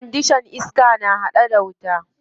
Kwandishan iska ma ana hada ta da wuta.